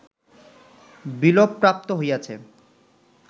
বিলোপপ্রাপ্ত হইয়াছে